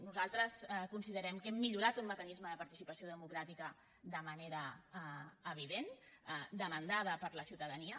nosaltres considerem que hem millorat un mecanisme de participació democràtica de manera evident demanat per la ciutadania